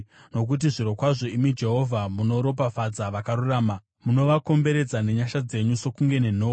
Nokuti zvirokwazvo, imi Jehovha, munoropafadza vakarurama; munovakomberedza nenyasha dzenyu sokunge nenhoo.